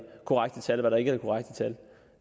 korrekte tal der ikke